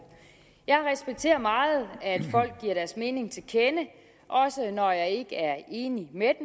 jeg respekterer meget at folk giver deres mening til kende også når jeg ikke er enig med